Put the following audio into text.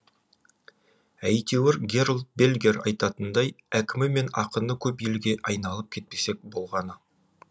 әйтеуір герольд бельгер айтатындай әкімі мен ақыны көп елге айналып кетпесек болғаны